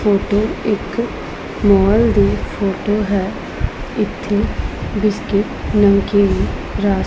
ਇਹ ਇਕ ਮੋਲ ਦੀ ਫੋਟੋ ਹੈ ਇਥੇ ਬਿਸਕੁਟ ਨਮਕੀਨ ਰਸ।